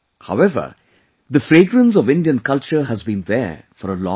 However, the fragrance of Indian culture has been there for a long time